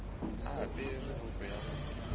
a apere roko ya go